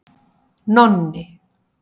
Nonni